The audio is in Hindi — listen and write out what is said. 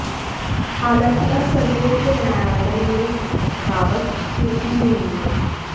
हालांकि अब सर्वोच्च न्यायालय में इस बावत पेषी भी होनी है